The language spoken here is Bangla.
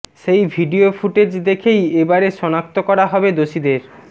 সেই ভিডিও ফুটেজ দেখেই এবারে শনাক্ত করা হবে দোষীদের